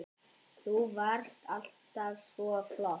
Þú varst alltaf svo flott.